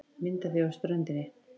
Mynd á því af ströndinni.